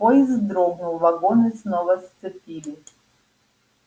поезд вздрогнул вагоны снова сцепили